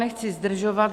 Nechci zdržovat.